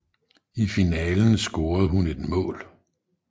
I finalen scorede hun et mål